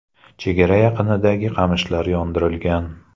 Chegara yaqinidagi qamishlar yondirilgan.